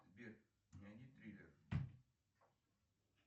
сбер найди триллер